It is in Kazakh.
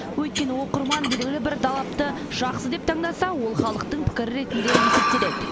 өйткені оқырман белгілі бір далапты жақсы деп таңдаса ол халықтың пікірі ретінде есептеледі